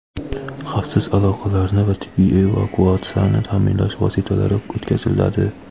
xavfsiz aloqalarni va tibbiy evakuatsiyani ta’minlash vositalari o‘tkaziladi.